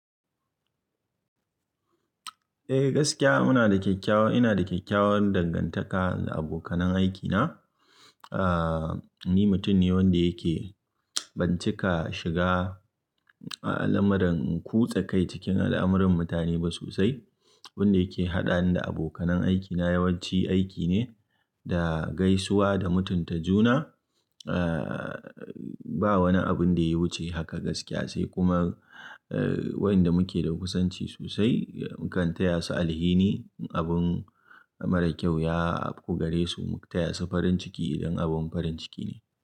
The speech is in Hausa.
Eh gaskiya muna da ina da kyakkyawan dangantaka da abokanan aiki na. Ahhh, ni mutum ne wanda yake ban cika shiga a lamuran kutsa kai cikin al'amuran mutane ba sosai. Wanda yake haɗani da abokanan aiki na yawanci aiki ne da gaisuwa da mutunta juna. Ahhh, ba wani abun da ya wuce haka gaskiya sai kuma ehh wayanda muke da kusanci sosai mukan taya su alhini ne abun mara kyau ya kukare su, mu taya su farin ciki idan abun farin ciki ne.